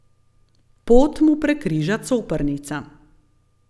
Pot mu prekriža Coprnica.